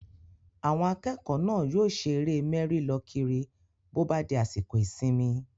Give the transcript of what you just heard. Àwọn akẹ́kọ̀ọ́ náà yóò ṣe eré mẹ́rí-lọ-kiri bó bá di àsìkò ìsinmi